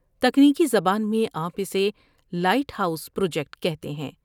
تکنیکی زبان میں آپ اسے لائٹ ہاؤس پروجیکٹ کہتے ہیں ۔